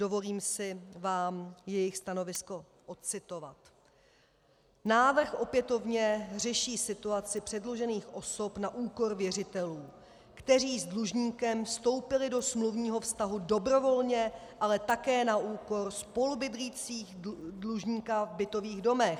Dovolím si vám jejich stanovisko odcitovat: Návrh opětovně řeší situaci předlužených osob na úkor věřitelů, kteří s dlužníkem vstoupili do smluvního vztahu dobrovolně, ale také na úkor spolubydlících dlužníka v bytových domech.